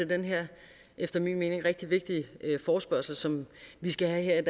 den her efter min mening rigtig vigtige forespørgsel som vi skal have